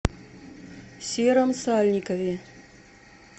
сером сальникове